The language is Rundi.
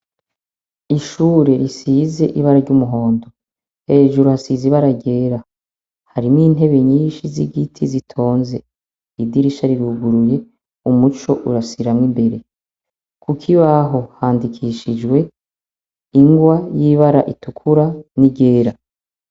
Ishure risize ibara ry'umuhondo, hejuru hasize ibara ryera. Harimo intebe nyinshi z'igiti zitonze. Idirisha riruguruye umuco urasiramwo imbere .Kukibaho handikishijwe ingwa y'ibara itukura n'iryera.